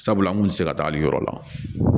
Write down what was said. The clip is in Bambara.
Sabula an kun tɛ se ka taali yɔrɔ la